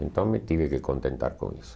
Então, me tive que contentar com isso.